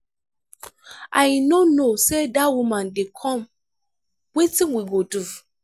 i no know say dat woman dey come wetin we go do?